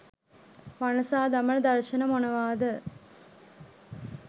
වනසා දමන දර්ශන මොනවා ද?